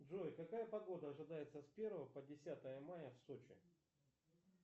джой какая погода ожидается с первого по десятое мая в сочи